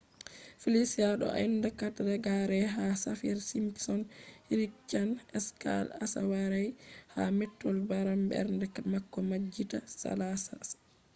felicia do ha enda 4 reggare ha saffir-simpson hurricane scale asawaire ha mettol beram bernde bako majjita salasa